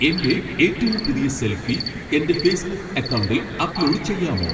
എന്റെ ഏറ്റവും പുതിയ സെൽഫി എന്റെ ഫേസ്ബുക്ക് അക്കൗണ്ടിൽ അപ്ലോഡ് ചെയ്യാമോ